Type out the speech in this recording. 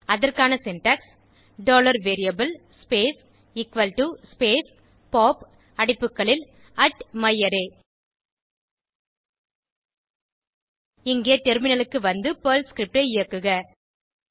அதற்கான syntax variable space space pop அடைப்புகளில் myArray இப்போது டெர்மினலுக்கு வந்து பெர்ல் ஸ்கிரிப்ட் ஐ இயக்குக